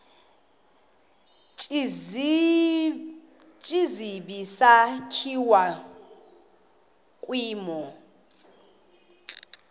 tsibizi sakhiwa kwimo